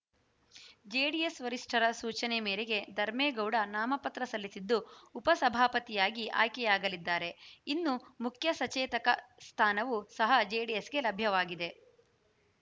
JDS ವರಿಷ್ಠರ ಸೂಚನೆ ಮೇರೆಗೆ ಧರ್ಮೇಗೌಡ ನಾಮಪತ್ರ ಸಲ್ಲಿಸಿದ್ದು ಉಪಸಭಾಪತಿಯಾಗಿ ಆಯ್ಕೆಯಾಗಲಿದ್ದಾರೆ ಇನ್ನು ಮುಖ್ಯಸಚೇತಕ ಸ್ಥಾನವು ಸಹ ಜೆಡಿಎಸ್‌ಗೆ ಲಭ್ಯವಾಗಿದೆ